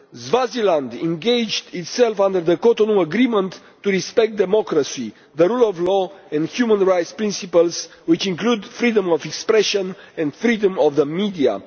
Swaziland engaged itself, under the Cotonou Agreement, to respect democracy, the rule of law and human rights principles, which include freedom of expression and freedom of the media.